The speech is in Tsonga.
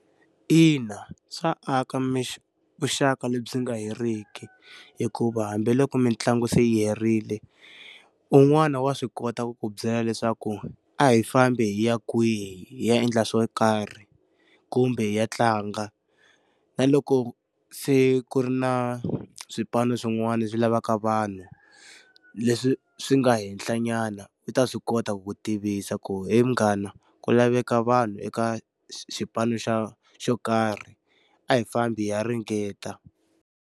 Ina swa aka vuxaka lebyi nga heriki hikuva hambiloko mitlangu se yi herile, un'wani wa swi kota ku ku byela leswaku a hi fambi hi ya kwihi ya endla swo karhi, kumbe hi ya tlanga. Na loko se ku ri na swipano swin'wana swi lavaka vanhu, leswi swi nga henhla nyana u ta swi kota ku ku tivisa ku he mghana, ku laveka vanhu eka xipano xa xo karhi a hi fambi hi ya ringeta.